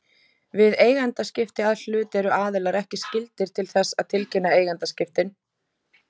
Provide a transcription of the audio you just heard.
Við eigendaskipti að hlut eru aðilar ekki skyldir til þess að tilkynna eigendaskiptin.